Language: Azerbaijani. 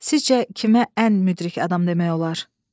Sizcə kimə ən müdrik adam demək olar?